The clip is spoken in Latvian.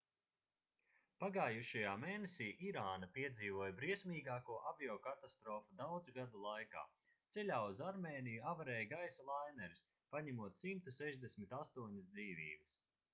pagājušajā mēnesī irāna piedzīvoja briesmīgāko aviokatastrofu daudzu gadu laikā ceļā uz armēniju avarēja gaisa laineris paņemot 168 dzīvības